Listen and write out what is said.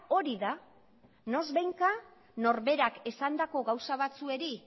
hori da noizbehinka norberak esandako gauza batzuei